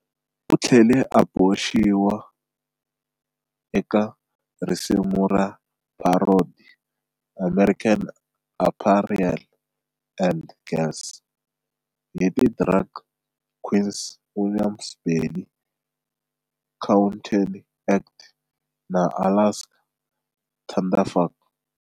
U tlhele a boxiwa eka risimu ra parody"American Apparel Ad Girls" hi ti drag queens Willam Belli, Courtney Act na Alaska Thunderfuck.